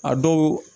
A dɔw